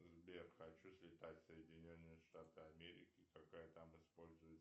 сбер хочу слетать в соединенные штаты америки какая там используется